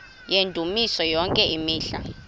yendumiso yonke imihla